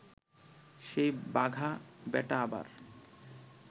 সেই বাঘা বেটা আবার